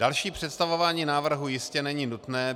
Další představování návrhu jistě není nutné.